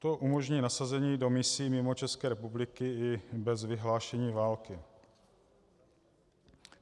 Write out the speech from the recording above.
To umožní nasazení do misí mimo Českou republiku i bez vyhlášení války.